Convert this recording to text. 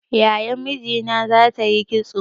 Yayan mijina za ta yi kitso